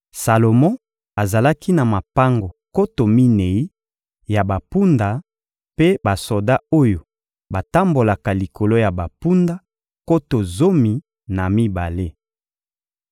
Salomo azalaki na mapango nkoto minei ya bampunda mpe basoda oyo batambolaka likolo ya bampunda, nkoto zomi na mibale.